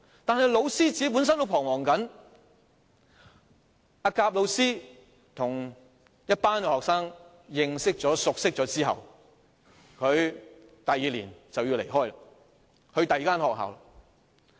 但是，教師本身也在彷徨，甲教師與一群學生認識及熟落後，第二年便要離開，到另一所學校任職。